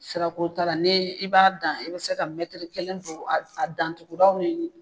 Sirako t'ara ne i b'a dan i be se ka mɛtiri kelen don a dantuguraw ni ɲɔgɔn cɛ